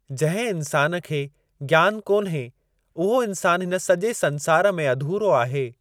जिंहिं इंसानु खे ज्ञान कोन्हे उहो इंसान हिनु सॼे संसारु में अधूरो आहे।